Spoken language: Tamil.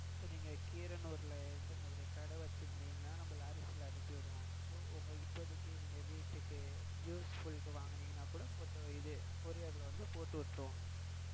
இப்ப நீங்க கீரனுரல் இந்த மாதிரி கடை வச்சிருந்தீங்கனா நம்ம lorry full ஆஹ் அனுப்பிவிடுவோம். so இப்போதைக்கு நீங்க வீட்டிற்கு useful க்கு வாங்கினிங்கனா கூட நம்ம இது courier ல போட்டு விட்டிருவோம்.